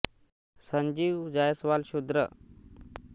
Sanjeev Jaiswal Shudra the rising या ऐतिहासिक हिंदी चित्रपटाचे निर्माता निर्देशक आणि लेखक आहेत